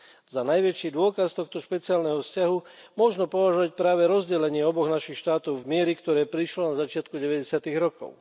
Za najväčší dôkaz tohto špeciálneho vzťahu možno považovať práve rozdelenie oboch našich štátov v mieri, ktoré prišlo na začiatku 90 rokov.